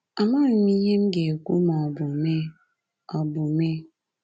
Amaghị m ihe m ga-ekwu ma ọ bụ mee ọ bụ mee